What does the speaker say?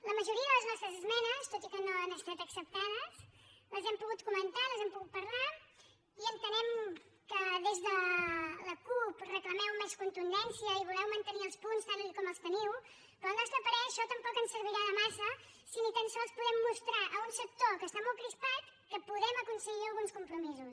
la majoria de les nostres esmenes tot i que no han estat acceptades les hem pogut comentar les hem pogut parlar i entenem que des de la cup reclameu més contundència i voleu mantenir els punts tal com els teniu però al nostre parer això tampoc ens servirà de gaire si ni tan sols podem mostrar a un sector que està molt crispat que podem aconseguir alguns compromisos